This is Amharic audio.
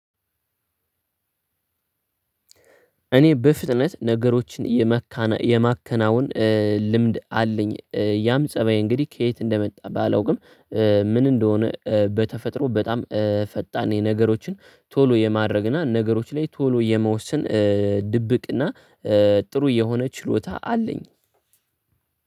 እኔ በፍጥነት ነገሮችን የማከናውን ልምድ አለኝ ያም ፀባይ እንግዲህ ከየት እንደመጣ ባላውቅም። ምን እንደሆነ በተፈጥሮ በጣም ፈጣን የነገሮችን ቶሎ የማድረግና ነገሮች ላይ ቶሎ የመወሰን። ድብቅና ጥሩ የሆነ ችሎታ አለኝ።